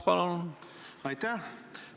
Aitäh!